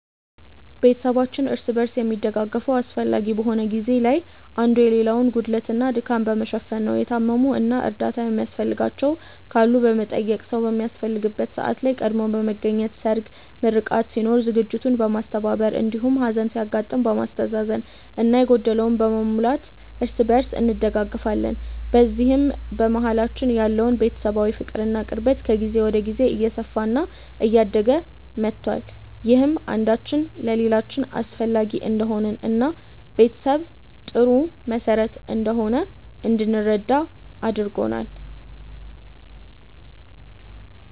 ቤተሰባችን እርስ በርስ የሚደጋገፈው አስፈላጊ በሆነ ጊዜ ላይ አንዱ የሌላውን ጉድለት እና ድካም በመሸፈን ነው። የታመሙ እና እርዳታ የሚያስፈልጋቸው ካሉ በመጠየቅ፣ ሰዉ በሚያስፈልግበት ሰዓት ላይ ቀድሞ በመገኘት ሰርግ፣ ምርቃት ሲኖር ዝግጅቱን በማስተባበር እንዲሁም ሀዘን ሲያጋጥም በማስተዛዘን እና የጎደለውን በመሙላት እርስ በእርስ እንደጋገፋለን። በዚህም በመሀላችን ያለው ቤተሰባዊ ፍቅር እና ቅርበት ከጊዜ ወደ ጊዜ እየሰፋ እና እያደገ መቷል። ይህም አንዳችን ለሌላችን አስፈላጊ እንደሆንን እና ቤተሰብ ጥሩ መሰረት እንደሆነ እንድንረዳ አድርጎናል።